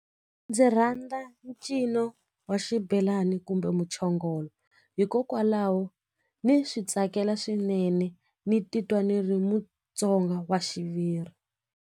Ndzi rhandza ncino wa xibelani kumbe muchongolo hikokwalaho ni swi tsakela swinene ni titwa ni ri mutsonga wa xiviri.